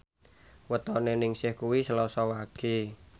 wetone Ningsih kuwi Selasa Wage